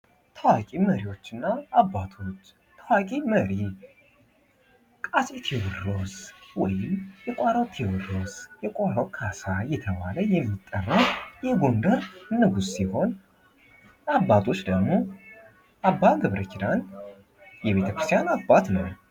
ታዋቂ መሪዎችና አባቶች ታዋቂ መሪ አፄ ቴዎድሮስ ወይንም የቋራው ቴድሮስ፣ የቋራው ካሳ እየተባለ የሚጠራው የጎንደር ንጉስ ሲሆን አባቶች ደግሞ አባ ገብረኪዳን የቤተ ክርስቲያን አባት ነው።